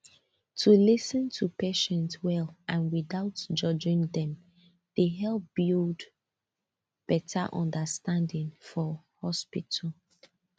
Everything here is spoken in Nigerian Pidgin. to lis ten to patients well and without judging dem dey help build better understanding for hospital